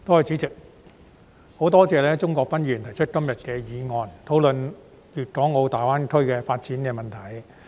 代理主席，十分多謝鍾國斌議員提出今天的議案，討論粵港澳大灣區的發展問題。